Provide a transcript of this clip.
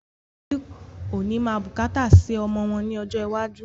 Àwọn òbí ó ní máa bùkátà sì ọmọ wọn ní ọjọ́ iwájú